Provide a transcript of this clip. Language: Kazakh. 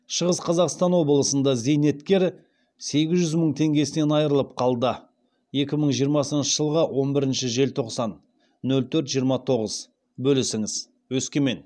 шығыс қазақстан облысында зейнеткер сегіз жүз мың теңгесінен айырылып қалды екі мың жиырмасыншы жылғы он бірінші желтоқсан нөл төрт жиырма тоғызбөлісіңіз өскемен